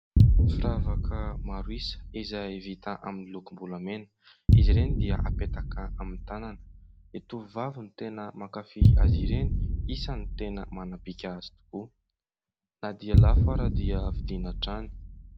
Firavaka maro isa izay vita amin'ny lokom-bolamena. Izy ireny dia apetaka amin'ny tanana. Ny tovovavy no tena mankafy azy ireny. Isany tena manabika azy tokoa na dia lafo ary dia vidiana hatrany.